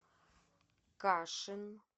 кашин